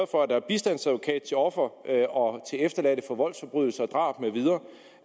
for at der er bistandsadvokat til offer og til efterladte for voldsforbrydelser og drab med videre